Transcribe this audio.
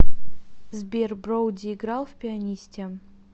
сбер броуди играл в пианисте